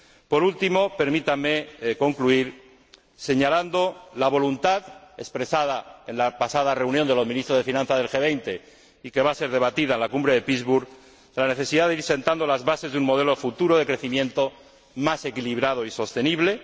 Por último, permítanme concluir, señalando la voluntad expresada en la pasada reunión de los Ministros de Finanzas del G 20 y que va a ser debatida en la Cumbre de Pittsburg, la necesidad de ir sentando las bases de un modelo futuro de crecimiento más equilibrado y sostenible.